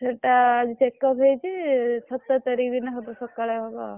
ସେଟା checkup ହେଇଛି ସତର ତାରିଖ ଦିନ ହବ ସଖାଳେ ହବ ଆଉ।